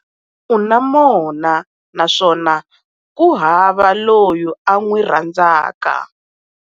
U na mona naswona ku hava loyi a n'wi rhandzaka.